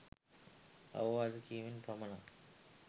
අවවාද කිරීමෙන් පමණක්